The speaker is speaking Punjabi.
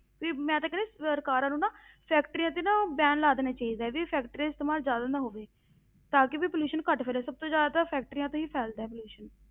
ਵੀ ਮੈਂ ਤੇ ਕਹਿੰਦੀ ਸਰਕਾਰਾਂ ਨੂੰ ਨਾ factories ਤੇ ਨਾ ban ਲਾ ਦੇਣਾ ਚਾਹੀਦਾ ਵੀ factories ਦਾ ਇਸਤੇਮਾਲ ਜ਼ਿਆਦਾ ਨਾ ਹੋਵੇ, ਤਾਂ ਕਿ ਵੀ pollution ਘੱਟ ਫੈਲੇ, ਸਭ ਤੋਂ ਜ਼ਿਆਦਾ ਤਾਂ factories ਤੋਂ ਹੀ ਫੈਲਦਾ ਹੈ pollution